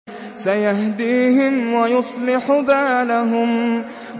سَيَهْدِيهِمْ وَيُصْلِحُ بَالَهُمْ